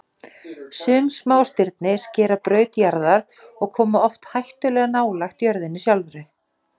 Sum smástirni skera braut jarðar og koma oft hættulega nálægt jörðinni sjálfri.